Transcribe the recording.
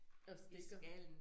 Og stikker